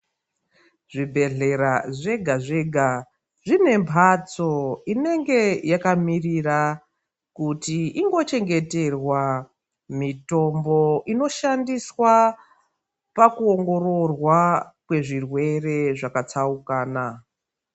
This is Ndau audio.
Zvibhedhlera zvega zvega zvine mphatso inenge yakamirira kuti ingochengeterwa mitombo inoshandiswa pakuongororwa kwezvirwere zvakatsaukana.